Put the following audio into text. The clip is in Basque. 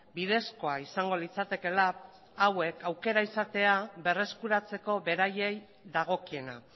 bidezkoa izango litzatekeela hauek aukera izatea berreskuratzeko beraiei dagokiena